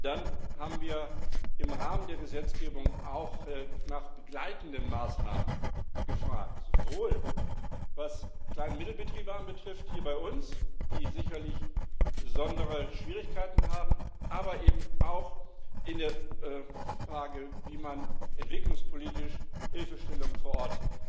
Dann haben wir im Rahmen der Gesetzgebung auch nach begleitenden Maßnahmen gefragt, sowohl was Klein und Mittelbetriebe hier bei uns anbelangt, die sicherlich besondere Schwierigkeiten haben, als auch bezüglich der Frage, wie man entwicklungspolitisch Hilfestellung vor Ort